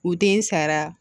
U den sara